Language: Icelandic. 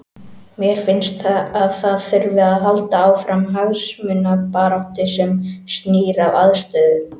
Mér finnst að það þurfi að halda áfram hagsmunabaráttu sem snýr að aðstöðu.